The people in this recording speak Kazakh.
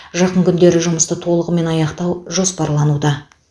жақын күндері жұмысты толығымен аяқтау жоспарлануда